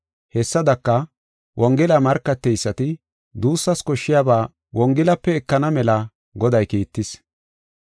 Hessadaka, wongela markateysati duussas koshshiyaba wongelape ekana mela Goday kiittis.